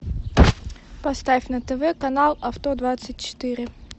поставь на тв канал авто двадцать четыре